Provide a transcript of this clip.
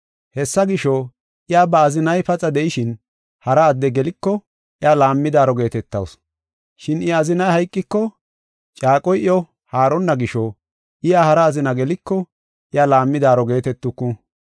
Hessa gisho, iya ba azinay paxa de7ishin, hara adde geliko, iya laammidaaro geetetawusu. Shin I azinay hayqiko, caaqoy iyo haaronna gisho iya hara azina geliko, iya laammidaaro geetetuku.